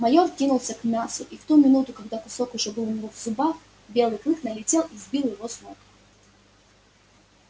майор кинулся к мясу и в ту минуту когда кусок уже был у него в зубах белый клык налетел и сбил его с ног